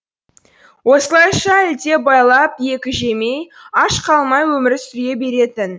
осылайша ілдебайлап екі жемей аш қалмай өмір сүре беретін